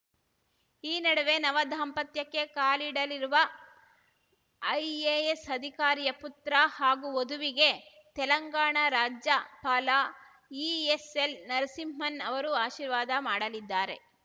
ಈ ನಡುವೆ ನವ ದಾಂಪತ್ಯಕ್ಕೆ ಕಾಲಿಡಲಿರುವ ಐಎಎಸ್‌ ಅಧಿಕಾರಿಯ ಪುತ್ರ ಹಾಗೂ ವಧುವಿಗೆ ತೆಲಂಗಾಣ ರಾಜ್ಯಪಾಲ ಇಎಸ್‌ಎಲ್‌ ನರಸಿಂಹನ್‌ ಅವರು ಆಶಿರ್ವಾದ ಮಾಡಲಿದ್ದಾರೆ